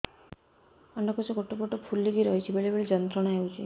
ଅଣ୍ଡକୋଷ ଗୋଟେ ପଟ ଫୁଲିକି ରହଛି ବେଳେ ବେଳେ ଯନ୍ତ୍ରଣା ହେଉଛି